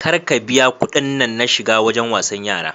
Kar ka biya kuɗin nan na shiga wajen wasan yara.